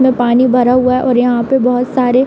पानी भरा हुआ है और यहाँ पे बोहोत सारे --